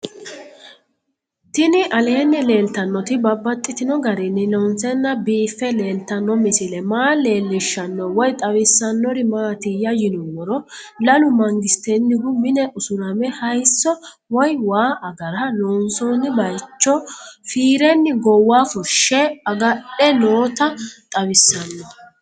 Tinni aleenni leelittannotti babaxxittinno garinni loonseenna biiffe leelittanno misile maa leelishshanno woy xawisannori maattiya yinummoro lalu mangisettenihu mine usuramme hayiisso woy waa agara loonsoonni bayiichcho fiirenni goowa fushe agadhe nootta xawissanno